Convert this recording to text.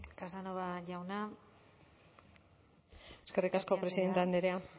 casanova jauna mikrofonoa itzalita hitz egin du eskerrik asko presidente andrea